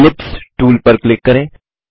ellipse tool पर click करें